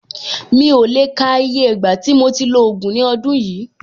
Mi ò lè le ka iye ìgbà tí mo ti lo ògùn ní ọdún yìí.